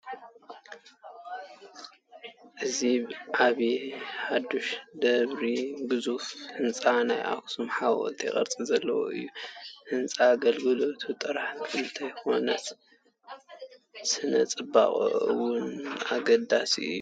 እዚ ብዓል ሓሙሽተ ደብሪ ግዙፍ ህንፃ ናይ ኣኽሱም ሓወልቲ ቅርፂ ዘለዎ እዩ፡፡ ህንፃ ኣገልግሎቱ ጥራሕ እንተይኮነስ ስነ ፅባቐኡ እውን ኣገዳሲ እዩ፡፡